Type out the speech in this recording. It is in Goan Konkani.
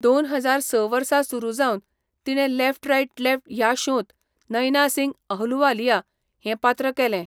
दोन हजार स वर्सा सुरू जावन तिणें लेफ्ट राइट लेफ्ट ह्या शोंत नैना सिंग अहलुवालिया हें पात्र केलें.